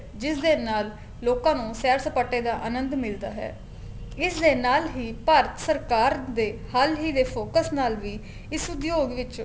ਜਿਸ ਦੇ ਨਾਲ ਲੋਕਾ ਨੂੰ ਸੈਰ ਸਪਾਟੇ ਦਾ ਅਨੰਦ ਮਿਲਦਾ ਹੈ ਇਸ ਦੇ ਨਾਲ ਹੀ ਭਾਰਤ ਸਰਕਾਰ ਦੇ ਹਾਲ ਹੀ ਦੇ focus ਨਾਲ ਵੀ ਇਸ ਉਦਯੋਗ ਵਿੱਚ